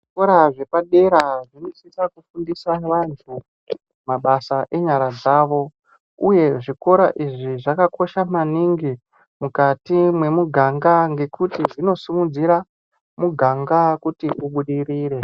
Zvikora zvepadera zvinosisa kufundisa vantu mabasa enyara, uyezve zvikora izvi zvakakosha maningi mukati memuganga ngekuti zvinosimudzira muganga kuti ubudirire.